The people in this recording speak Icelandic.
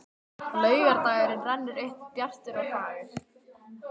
Laugardagurinn rennur upp bjartur og fagur.